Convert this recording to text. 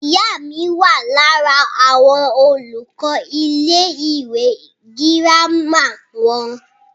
ìyá mi wà lára àwọn olùkọ́ ilé ìwé girama wọn